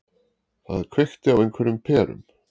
Það kveikti á einhverjum perum.